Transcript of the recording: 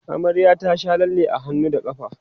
amaryar ta Sha lalle a hannu da ƙafa